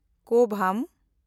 ᱠᱩᱣᱩᱢ